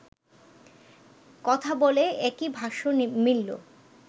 কথা বলে একই ভাষ্য মিলল